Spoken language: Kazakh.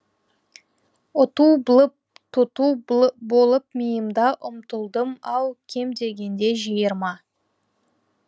ұту блып тұту болып миымда ұмтылдым ау кем дегенде жиырма